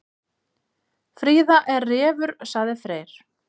Fríða er refur, sagði Freyr.